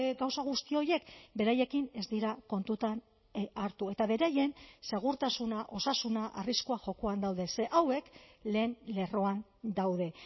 gauza guzti horiek beraiekin ez dira kontutan hartu eta beraien segurtasuna osasuna arriskua jokoan daude ze hauek lehen lerroan daude